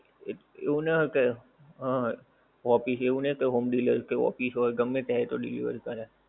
એવું ના કઈ, હા, office એવું નહિ એતો home delivery તો office હોય ગમે ત્યાં એ તો delivery કરે.